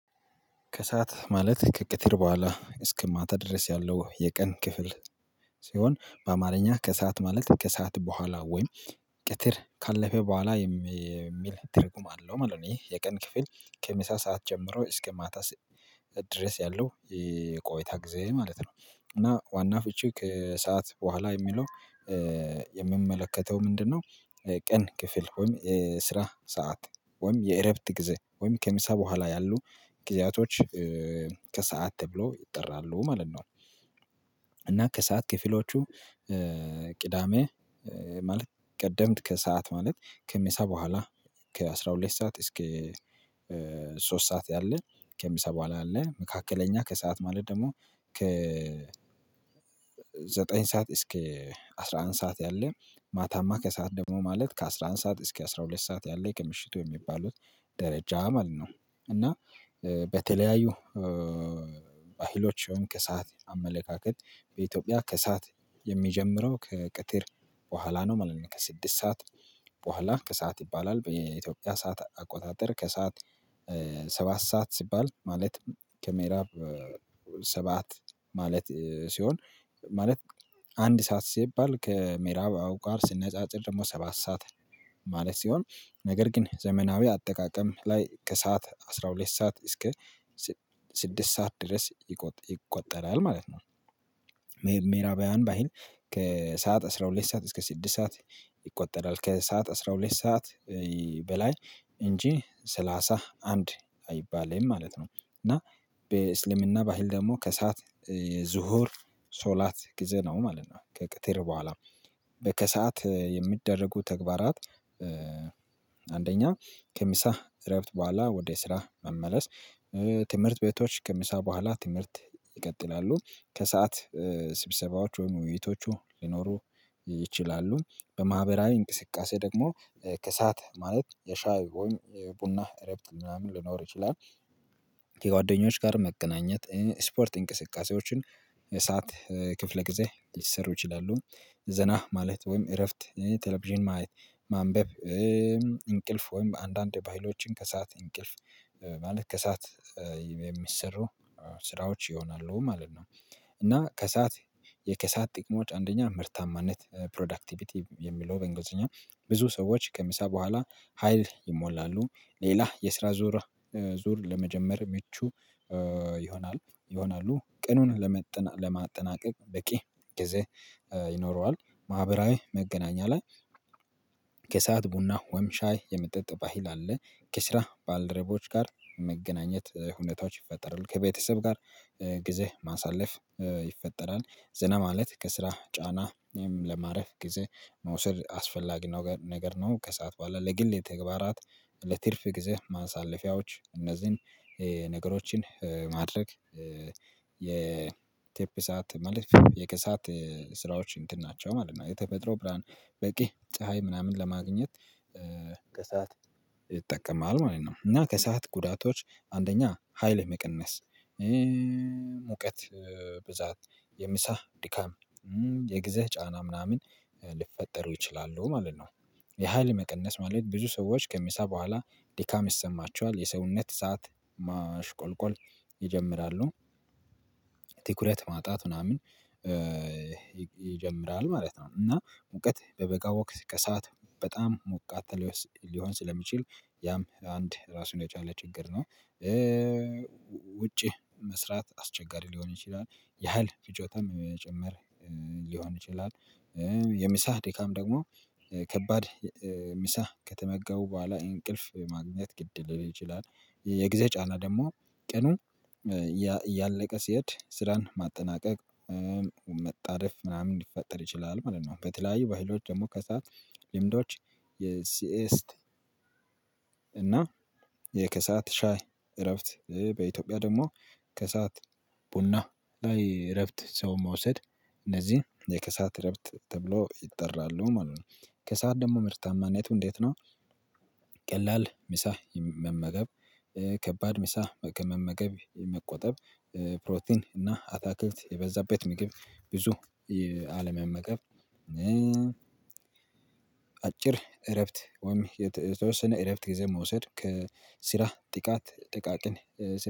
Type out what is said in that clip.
ከሰአት ማለት ከቀትር በኋላ እስከ ማታ ድረስ ያለው የቀን ክፍል ሲሆን በአማርኛ ከሰአት ማለት ከሰአት በኋላ ወይም ቀትር ካለፈ በኋላ የሚል ትርጉም አለው ማለት ነው። ይህ የቀን ክፍል ከመምሳ ሰዓት ጀምሮ እስከ ማታ ድረስ ያለው ቆይታ ጊዜ ማለት ነው። እና ዋና ፍቺ ከሰአት በኋላ የሚለው የሚመለከተው ምንድነው? ቀን ክፍል ወይም ስራ ሰዓት ወይም የእረፍት ጊዜ ወይም ከምሳ በኋላ ያሉ ጊዜያቶች ከሰአት ተብሎ ይጠራሉ ማለት ነው። እና ከሰአት ክፍሎቹ ቅዳሜ ማለት ቀደምት ከሰአት ማለት ከምሳ በኋላ ከአስራ ሁለት ሰዓት እስከ ሶስት ሰዓት ያለ ከምሳ በኋላ አለ መካከለኛ ከሰአት ማለት ደግሞ ከ ዘጠኝ ሰዓት እስከ አስራ አንድ ሰዓት ያለ ማታማ ከሰአት ደግሞ ማለት ከአስራ አንድ ሰዓት እስከ አስራ ሁለት ሰዓት ያለ ከምሽቱ የሚባሉት ደረጃ ማለት ነው። እና በተለያዩ ባህሎች ወይም ከሰአት አመለካከት በኢትዮጵያ ከሰአት የሚጀምረው ከቀትር በኋላ ነው ማለት ነው። ከስድስት ሰዓት በኋላ ከሰአት ይባላል በኢትዮጵያ ሰዓት አቆጣጠር ከሰአት ሰባት ሰዓት ሲባል ማለት ከምእራብ ሰባት ማለት ሲሆን። ማለት አንድ ሰዓት ሲባል ከምእራብ አውቃር ሲነጻጸር ደግሞ ሰባት ሰዓት ማለት ሲሆን ነገር ግን ዘመናዊ አጠቃቀም ላይ ከሰአት አስራ ሁለት ሰዓት እስከ ስድስት ሰዓት ድረስ ይቆ ይቆጠራል ማለት ነው። ምእራባዊያን ባህል ከሰአት አስራ ሁለት ሰዓት እስከ ስድስት ሰዓት ይቆጠራል ከሰአት አስራ ሁለት ሰዓት በላይ እንጂ ሰላሳ አንድ አይባልም ማለት ነው። እና በእስልምና ባህል ደግሞ ከሰአት የዝሁር ሶላት ጊዜ ነው ማለት ነው። ከቀትር በኋላ በከሰዓት የሚደረጉ ተግባራት አንደኛ ከምሳ እረፍት በኋላ ወደ ስራ መመለስ ትምህርት ቤቶች ከምሳ በኋላ ትምህርት ይቀጥላሉ ከሰአት ስብሰባዎች ወይም ውይይቶቹ ሊኖሩ ይችላሉ በማህበራዊ እንቅስቃሴ ደግሞ ከሰአት ማለት የሻይ ወይም ቡና እረፍት ምናምን ሊኖር ይችላል። ከጓደኞች ጋር መገናኘት ስፖርት እንቅስቃሴዎችን እሳት ክፍለ ጊዜ ሊሠሩ ይችላሉ ዘና ማለት ወይም እረፍት ቴሌቪዥን ማየት ማንበብ እንቅልፍ ወይም አንዳንድ ፋይሎችን ከሰአት እንቅልፍ ማለት ከሰአት የሚሰሩ ስራዎች ይሆናሉ ማለት ነው። እና ከሰአት የከሰአት ጥቅሞች አንደኛ ምርታማነት ፕሮዳክቲቪቲ የሚለው በእንግሊዝኛ ብዙ ሰዎች ከምሳ በኋላ ሀይል ይሞላሉ ሌላ የስራ ዙር ዙር ለመጀመር ምቹ ይሆናል ይሆናሉ ቀኑን ለመ ለማጠናቀቅ በቂ ጊዜ ይኖረዋል። ማህበራዊ መገናኛ ላይ ከሰአት ቡና ወይም ሻይ የመጠጥ ባህል አለ ከስራ ባልደረቦች ጋር መገናኘት ሁኔታዎች ይፈጠራል ከቤተሰብ ጋር ጊዜ ማሳለፍ። ይፈጠራል ዘና ማለት ከስራ ጫና ወይም ለማረፍ ጊዜ መውሰድ አስፈላጊ ነገ ነገር ነው ከሰአት በኋላ ለግል የተግባራት ለትርፍ ጊዜ ማሳለፊያዎች እነዚህን ነገሮችን ማድረግ የቴፕ ሰዓት ማለት የከሰአት ስራዎች እንትን ናቸው ማለት ነው። የተፈጥሮ ብርሃን በቂ ፀሀይ ምናምን ለማግኘት ከሰአት ይጠቀማል ማለት ነው። እና ከሰአት ጉዳቶች አንደኛ ሀይል መቀነስ ሙቀት ብዛት የምሳ ድካም የጊዜ ጫና ምናምን ሊፈጠሩ ይችላሉ ማለት ነው። የኃይል መቀነስ ማለት ብዙ ሰዎች ከምሳ በኋላ ድካም ይሰማቸዋል የሰውነት እሳት ማሽቆልቆል ይጀምራሉ ትኩረት ማጣት ምናምን ይጀምራል ማለት ነው። እና ሙቀት በበጋ ወቅት ከሰአት በጣም ሞቃት ሊሆን ስለሚችል ያም አንድ ራሱን የቻለ ችግር ነው። ውጪ መስራት አስቸጋሪ ሊሆን ይችላል። ያህል ፍጆታም መጨመር ሊሆን ይችላል። የምሳህ ድካም ደግሞ ከባድ ምሳ ከተመገቡ በኋላ እንቅልፍ ማግኘት ግድ ሊል ይችላል። የጊዜ ጫና ደግሞ ቀኑ ያእያለቀ ሲሄድ ስራን ማጠናቀቅ መጣደፍ ምናምን ሊፈጠር ይችላል ማለት ነው። በተለያዩ ባህሎች ደግሞ ከሰአት ልምዶች የሲኤስት እና የከሰአት ሻይ እረፍት በኢትዮጵያ ደግሞ ከሰአት ቡና ላይ እረፍት ሰው መውሰድ እነዚህን የከሰአት እረፍት ተብለው ይጠራሉ ማለት ነው። ከሰአት ደግሞ ምርታማነቱ እንዴት ነው? ቀላል ምሳ መመገብ ከባድ ምሳ ከመመገብ መቆጠብ ፕሮቲን እና አታክልት የበዛበት ምግብ ብዙ አለመመገብ አጭር እረፍት ወይም የተ የተወሰነ እረፍት ጊዜ መውሰድ ከስራ ጥቃት ጥቃቅን።